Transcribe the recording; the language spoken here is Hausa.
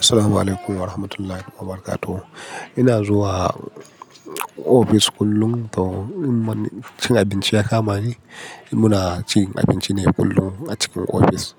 Assalamualaikum warahmatullahi wabarakatuh. Ina zuwa office kullum to in man cin abinci ya kama ni, muna cin abinci ne kullum a cikin office.